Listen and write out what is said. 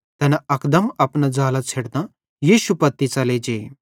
तैना अकदम अपना ज़ालां छ़ेडतां यीशु पत्ती च़ले जे